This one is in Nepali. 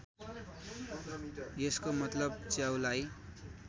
यसको मतलब च्याउलाई